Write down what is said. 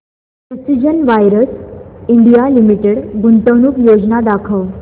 precision wires India limited गुंतवणूक योजना दाखव